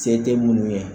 Se tɛ minnu ye